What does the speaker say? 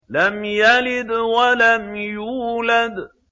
لَمْ يَلِدْ وَلَمْ يُولَدْ